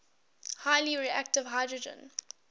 highly reactive hydrogen